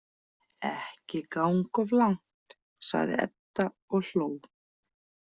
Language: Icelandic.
Ekki ganga of langt, sagði Edda og hló.